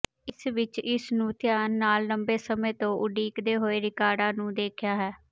ਇਸ ਵਿੱਚ ਇਸ ਨੂੰ ਧਿਆਨ ਨਾਲ ਲੰਬੇ ਸਮੇਂ ਤੋਂ ਉਡੀਕਦੇ ਹੋਏ ਰਿਕਾਰਡਾਂ ਨੂੰ ਵੇਖਿਆ ਹੈ